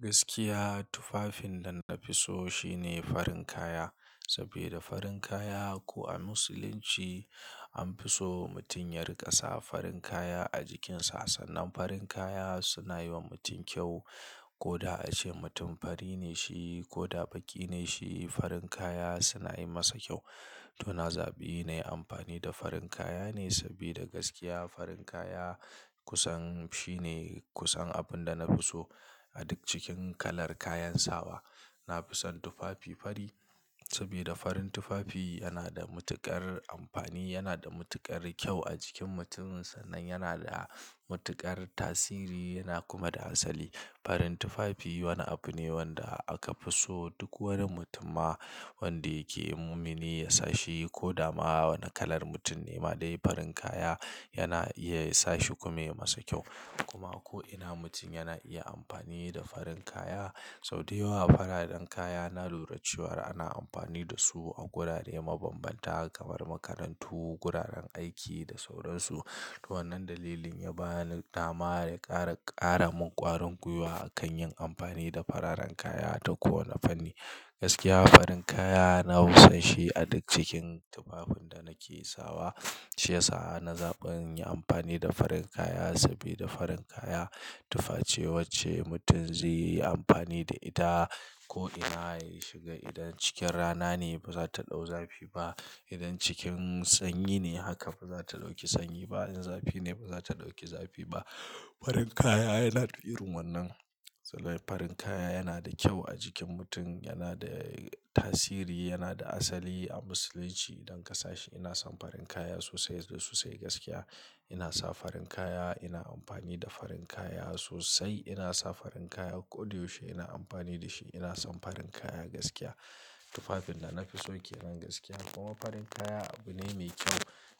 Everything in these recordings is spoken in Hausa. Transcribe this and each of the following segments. Gaskiya tufafin da na fi so shine farin kaya. Sabida farin kaya ko a Musulunci an fi so mutum ya riƙa sa farin kaya a jikinsa. Sannan farin kaya suna yi wa mutum kyau. Ko da ace mutum fari ne shi ko baƙi ne shi farin kaya suna yi masa kyau. To na zaɓi na yi amfani da farin kaya ne sabida gaskiya farin kaya kusan shine kusan abin da na fi so. A duk cikin kalar kayan sawa na fi son tufafi fari saboda farin tufafi yana da matuƙar amfani, yana da matuƙar kyau a jikin mutum. Sannan yana da matuƙar tasiri yana kuma da asali. Farin tufafi wani abu ne wanda aka fi so duk wani mutum ma wanda yake mumini yasa shi ko dama wani kalar mutum ne ma dai farin kaya yana iya sa shi kuma ya masa kyau. Kuma ko'ina mutum yana iya amfani da farin kaya. Sau da yawa fararen kaya na lura cewa ana amfani da su a wurare mabanbanta kamar makarantu, wuraren aiki da sauran su. To wannan dalilin ya bani dama ya ƙara, ƙara min ƙwarin gwiwa a kan yin amfani da fararen kaya ta kowane fanni. Gaskiya farin kaya na fi son shi a duk cikin tufafin da nake sawa. Shi ya sa ana zaɓan yin amfani da farin kaya sabida farin kaya tufa ce wacce mutum zai yi amfani da ita ko'ina ya shiga. Idan cikin rana ne ba za ta ɗau zafi ba. Idan cikin sanyi ne haka ba za ta ɗauki sanyi ba. In zafi ne ba za ta ɗauki zafi ba. Farin kaya yana da irin wannan. Sannan farin kaya yana da kyau a jikin mutum, yana da tasiri, yana da asali a Musulunci idan ka sa shi. Ina son farin kaya sosai da sosai gaskiya. Ina sa farin kaya, ina amfani da farin kaya sosai. Ina sa farin kaya koda yaushe ina amfani da shi. Ina son farin kaya gaskiya. Tufafin da na fi so ke nan gaskiya. Kuma farin kaya abu ne mai kyau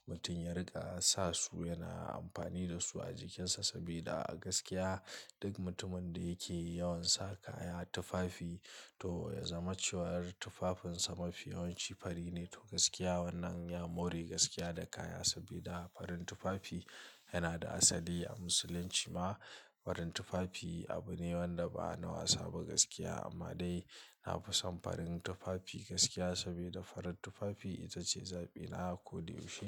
mutum ya riƙa sa su yana amfani da su a jikinsa sabida gaskiya duk mutumin da yake yawan sa kaya tufafi to ya zama cewar tufafinsa mafi yawanci fari ne. To gaskiya wannan ya more gaskiya da kaya sabida farin tufafi yana da asali a Musulunci ma. Farin tufafi abu ne wanda ba na wasa ba gaskiya amma dai na fi son farin tufafi gaskiya sabida farar tufafi ita ce zaɓina koda yaushe.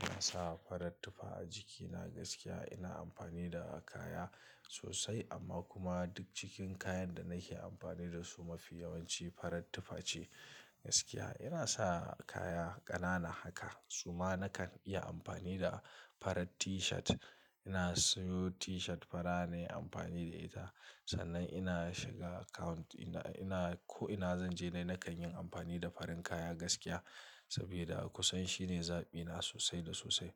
Na sa farar tufa a jikina gaskiya. Ina amfani da kaya sosai amma kuma duk cikin kayan da nake amfani da su mafi yawanci farar tufa ce gaskiya. Ina sa kaya ƙanana haka suma nakan iya amfani da farar T-shirt. Ina siyo T-shirt fara nayi amfani da ita. Sannan ina shiga account ɗina, ina ko'ina zan je dai nakan yin amfani da farin kaya gaskiya sabida a kusan shine zaɓina sosai da sosai.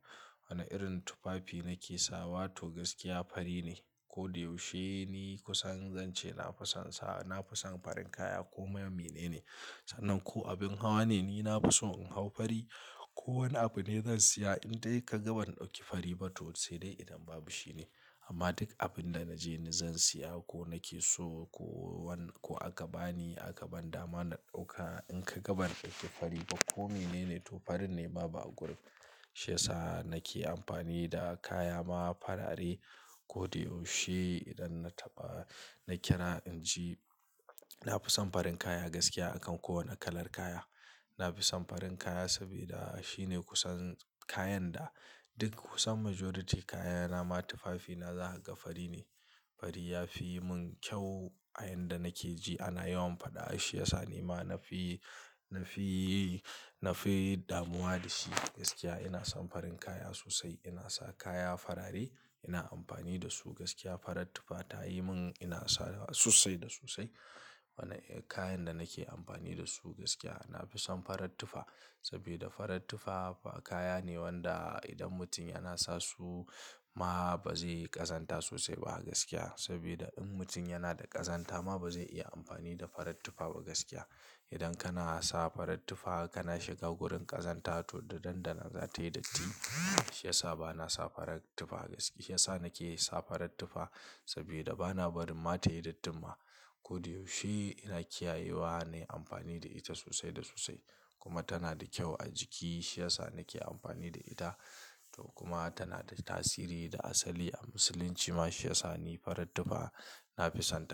Wane irin tufafi nake sawa to gaskiya fari ne. Kodq yaushe ni kusan zan ce na fi son sa, na fi son farin kaya koma menene. Sannan ko abin hawa ne ni na fi so in hau fari. Ko wani abu ne zan siya in dai ka ga ban ɗauki fari ba to sai dai idan babu shine. Amma duk abin da naje ni zan siya ko nake so ko wani ko aka bani, aka ban dama na ɗauka in ka ga ban ɗauki fari ba ko menene to fari ne baba a gurin. Shi ya sa nake amfani da kaya ma farare koda yaushe idan na taɓa, na kira in ji. Na fi son farin kaya gaskiya a kan kowane kalar kaya. Na fi son farin kaya sabida shine kusan kayan da duk kusan majority kayana ma tufafina zaka ga fari ne. Fari ya fi yi mun kyau a yanda nake ji ana yawan faɗa shi ya sa ni ma nafi, nafi, nafi damuwa da shi gaskiya. Ina son farin kaya sosai. Ina sa kaya farare, ina amfani da su gaskiya. Farar tufa ta yi mun ina sa sosai da sosai. Wane kayan da nake amfani da su gaskiya na fi son farar tufa sabida farar tufa kaya ne wanda idan mutum yana sa su ma ba zai yi ƙazanta sosai ba gaskiya. Saboda in mutum yana da ƙazanta ma ba zai iya amfani da farar tufa ba gaskiya. Idan kana sa farar tufa kana shiga wurin ƙazanta to da nan da nan za ta yi datti. Shi ya sa ba na sa farar tufa gaskiya. Shi ya sa nake sa farar tufa sabida ba na barin ma ta yi datti ma koda yaushe. Ina kiyayewa na yi amfani da ita sosai da sosai kuma tana da kyau a jiki. Shi ya sa nake amfani da ita to kuma tana da tasiri da asali a Musulunci ma shi ya sa ni farar tufa na fi son ta.